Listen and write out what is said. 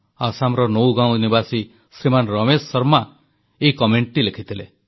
ଆସାମର ନୌଗାଓଁ ନିବାସୀ ଶ୍ରୀମାନ ରମେଶ ଶର୍ମା ଏହି ମନ୍ତବ୍ୟ ଲେଖିଥିଲେ